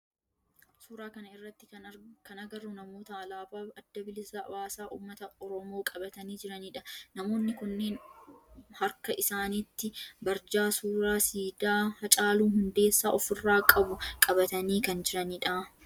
Suuraa kana irratti kan agarru namoota alaabaa adda bilisa baasaa ummata oromoo qabatanii jiranidha. Namoonni kunneen harka isaanitti barjaa suuraa siidaa Haacaaluu Hundeessaa of irraa qabu qabatani kan jirani dha.